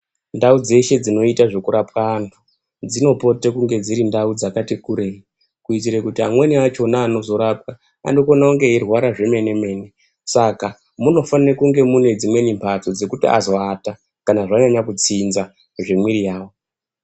Ndau dzeshe dzinoyita dzekurapwa anhu, dzinopote kunge dzirindau dzakati kureyi, kuyitire kuti amweni achona anozorapwa, anokhone kunge eyirwara zvemene mene. Saka, munofanire kunge mune dzimweni mbatso dzekuti azowata kana zvanyanya kudzindza zvemwiri yawo.